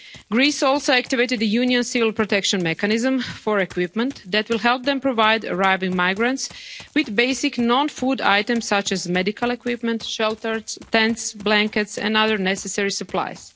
are taking place. Greece also activated the Union Civil protection mechanism for equipment that will help them provide arriving migrants with basic non food items such as medical equipment, shelters, tents, blankets and other necessary